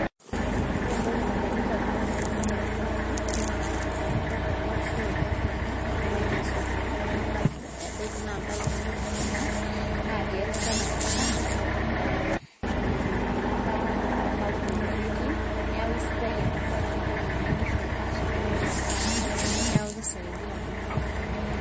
Ore entoki nalotu indamunot tenadol enabae, naa oltakataka ele ashu olchafu ele, egirai asotu ebaiki na ntaoni kuna, natii ele takataka nebaiki naa ebata onkaulele ake etii, neeku sidai enabae amu mitoki ninye nkishu asotu orpuya anya, neku kisaidia iltung'anak oleng.